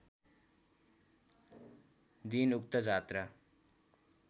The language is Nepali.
दिन उक्त जात्रा